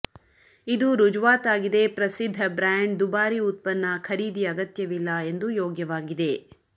ಇದು ರುಜುವಾತಾಗಿದೆ ಪ್ರಸಿದ್ಧ ಬ್ರ್ಯಾಂಡ್ ದುಬಾರಿ ಉತ್ಪನ್ನ ಖರೀದಿ ಅಗತ್ಯವಿಲ್ಲ ಎಂದು ಯೋಗ್ಯವಾಗಿದೆ